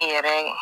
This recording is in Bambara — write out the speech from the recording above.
Yɛrɛ